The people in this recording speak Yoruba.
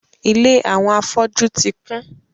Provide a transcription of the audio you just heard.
Ìlé àwọn afọ́jú ti kun